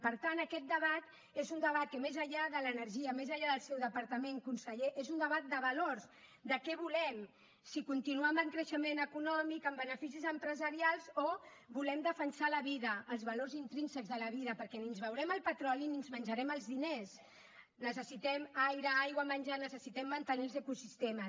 per tant aquest debat és un debat que més enllà de l’energia més enllà del seu departament conseller és un debat de valors de què volem si continuar amb el creixement econòmic amb beneficis empresarials o volem defensar la vida els valors intrínsecs de la vida perquè ni ens beurem el petroli ni ens menjarem els diners necessitem aire aigua menjar necessitem mantenir els ecosistemes